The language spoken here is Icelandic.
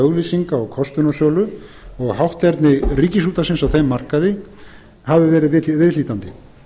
auglýsinga og kostunarsölu og hátterni ríkisútvarpsins á þeim markaði hafi verið viðhlítandi